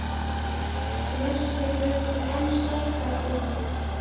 lestur jafnvel enn sterkar á hann.